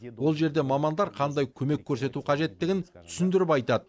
ол жерде мамандар қандай көмек көрсету қажеттігін түсіндіріп айтады